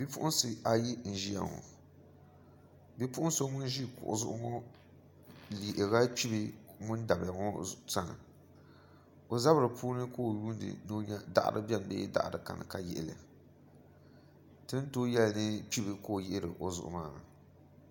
Bipuɣunsi ayi n ʒiya ŋo bipuɣun so ŋun ʒi kuɣu zuɣu ŋo yihirila kpibi ŋun dabiya ŋo sani o zabiri puuni ka o lihiri ni o nyɛ daɣari biɛni bee daɣari kani ka yihili ti ni tooi yɛli ni kpibi ka o yihiri o zuɣu maa ni